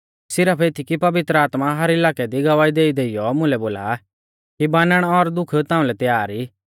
सिरफ एती कि पवित्र आत्मा हर इलाकै दी गवाही देईदेइयौ मुलै बोला कि बानण और दुख ताउंलै तैयार ई